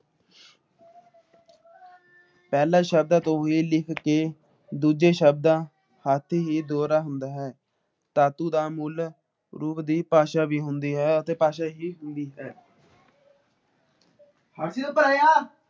ਪਹਿਲੇ ਸ਼ਬਦਾਂ ਚੋ ਹੀ ਲਿੱਖ ਕੇ ਦੂੱਜੇ ਸ਼ਬਦਾ ਹੱਥ ਹੀ ਦੋਹਰਾ ਹੁੰਦਾ ਹੈ ਧਾਤੁ ਦਾ ਮੁੱਲ ਰੂਪ ਦੀ ਭਾਸ਼ਾ ਵੀ ਹੁੰਦੀ ਹੈ । ਭਾਸ਼ਾ ਹੀ ਹੁੰਦੀ ਹੈ